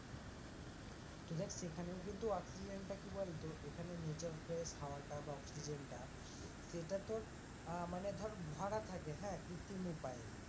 তো দেখ সেখানেও কিন্তু অক্সিজেনটা কি বলতো ওখানে nature fresh হাওয়াটা বা অক্সিজেনটা সেটা তোর আহ মানে ধর ভরা থাকে হ্যাঁ কৃত্রিম উপায়ে,